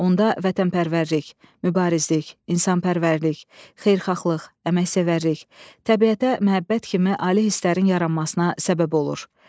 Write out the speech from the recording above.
Onda vətənpərvərlik, mübarizlik, insanpərvərlik, xeyirxahlıq, əməksevərlik, təbiətə məhəbbət kimi ali hisslərin yaranmasına səbəb olur.